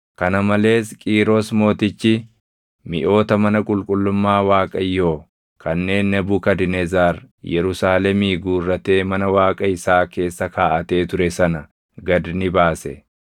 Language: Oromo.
Kana malees Qiiros Mootichi miʼoota mana qulqullummaa Waaqayyoo kanneen Nebukadnezar Yerusaalemii guurratee mana Waaqa isaa keessa kaaʼatee ture sana gad ni baase.